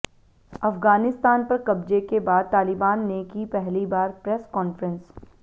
अफगानिस्तान पर कब्जे के बाद तालिबान ने की पहली बार प्रेस कॉन्फ्रेंस